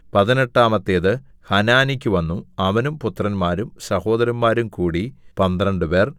പതിനെട്ടാമത്തേത് ഹനാനിക്കു വന്നു അവനും പുത്രന്മാരും സഹോദരന്മാരും കൂടി പന്ത്രണ്ടുപേർ